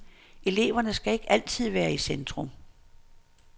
Eleverne skal ikke altid være i centrum.